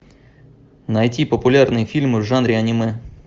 найти популярные фильмы в жанре аниме